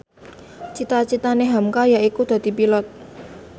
cita citane hamka yaiku dadi Pilot